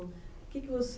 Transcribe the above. O que que você